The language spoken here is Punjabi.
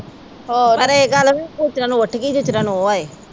ਪਰ ਇਹ ਗੱਲ ਵਾ ਵੀ ਨੂੰ ਉਠਗੀ ਜਿਸਤਰਾਂ ਨੂੰ ਉਹ ਆਏ।